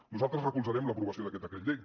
nosaltres recolzarem l’aprovació d’aquest decret llei